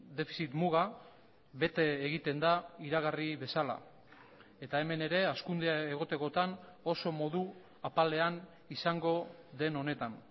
defizit muga bete egiten da iragarri bezala eta hemen ere hazkundea egotekotan oso modu apalean izango den honetan